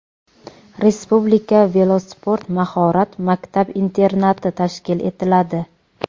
Respublika velosport mahorat maktab-internati tashkil etiladi.